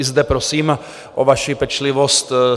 I zde prosím o vaši pečlivost.